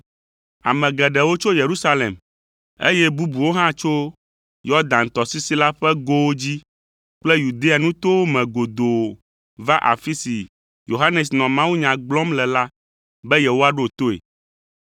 Ame geɖewo tso Yerusalem, eye bubuwo hã tso Yɔdan tɔsisi la ƒe gowo dzi kple Yudea nutowo me godoo va afi si Yohanes nɔ mawunya gblɔm le la be yewoaɖo toe.